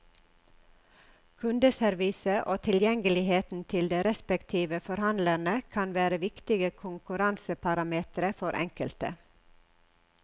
Kundeservice og tilgjengeligheten til de respektive forhandlerne kan være viktige konkurranseparametre for enkelte.